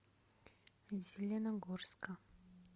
зеленогорска